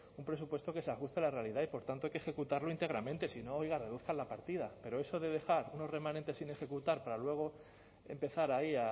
un presupuesto que se ajuste a la realidad y por tanto hay que ejecutarlo íntegramente si no oiga reduzcan la partida pero eso de dejar unos remanentes sin ejecutar para luego empezar ahí